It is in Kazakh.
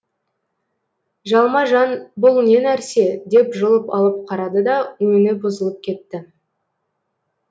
жалма жан бұл не нәрсе деп жұлып алып қарады да өңі бұзылып кетті